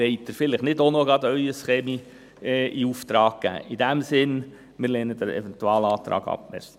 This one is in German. Wollen Sie vielleicht nicht auch noch Ihren Kamin in Auftrag geben?